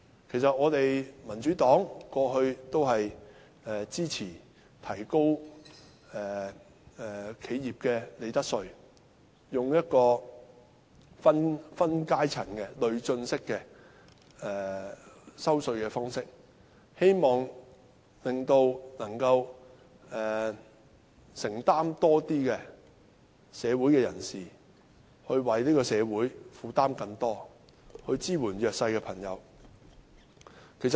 其實民主黨過去一直支持提高企業的利得稅，利用分階層的累進式稅制，令有能力負擔更多的人士為社會承擔更多，以支援弱勢的朋友。